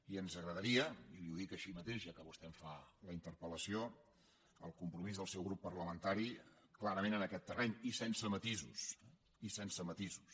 i ens agradaria i li ho dic així mateix ja que vostè em fa la interpel·lació el compromís dels seu grup parlamentari clarament en aquest terreny i sense matisos i sense matisos